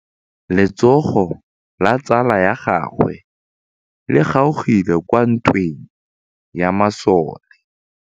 Letsôgô la tsala ya gagwe le kgaogile kwa ntweng ya masole.